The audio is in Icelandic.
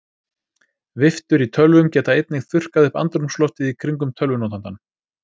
Viftur í tölvum geta einnig þurrkað upp andrúmsloftið í kringum tölvunotandann.